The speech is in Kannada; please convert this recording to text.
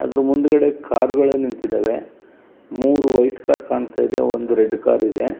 ಅದ್ರ ಮುಂದ್ಗಡೆ ಕಾರ್ಗ ಳು ನಿಂತಿದವೇ ಮೂರು ವೈಟ್ ಕಾರ್ ಕಾಣ್ತಾ ಇದೆ ಒಂದು ರೆಡ್ ಕಾರ್ ಇದೆ .